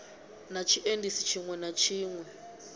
na tshiendisi tshiṋwe na tshiṋwe